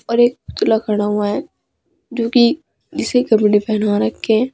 और एक पुतला खड़ा हुआ है जो की इसे कपडे पहना रखे हैं।